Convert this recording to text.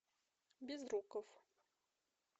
безруков